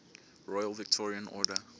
royal victorian order